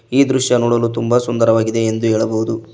ಈ ದೃಶ್ಯ ನೋಡಲು ತುಂಬಾ ಸುಂದರವಾಗಿದೆ ಎಂದು ಹೇಳಬಹುದು.